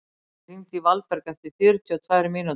Atli, hringdu í Valberg eftir fjörutíu og tvær mínútur.